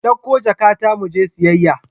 Ki dauko jakata mu je siyayya.